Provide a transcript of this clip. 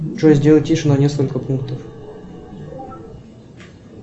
джой сделай тише на несколько пунктов